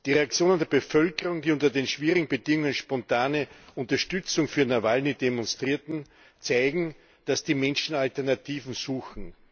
Die Reaktionen der Bevölkerung, die unter den schwierigen Bedingungen spontane Unterstützung für Nawalny demonstrierte, zeigen, dass die Menschen Alternativen suchen.